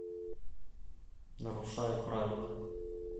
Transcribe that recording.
нарушая правила